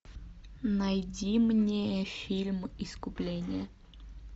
найди мне фильм искупление